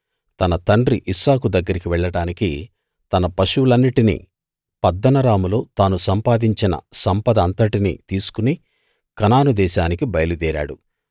తన తండ్రి ఇస్సాకు దగ్గరికి వెళ్ళడానికి తన పశువులన్నిటినీ పద్దనరాములో తాను సంపాదించిన సంపద అంతటినీ తీసుకు కనాను దేశానికి బయలుదేరాడు